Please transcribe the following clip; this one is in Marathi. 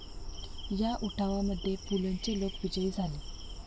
या उठावा मध्ये पुलंचे लोक विजयी झाले